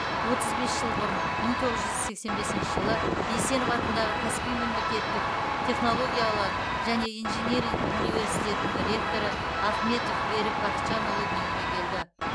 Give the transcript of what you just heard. отыз бес жыл бұрын мың тоғыз жүз сексен бесніші жылы есенов атындағы каспий мемлекеттік технологиялар және инжиниринг университетінің ректоры ахметов берік бақытжанұлы дүниеге келді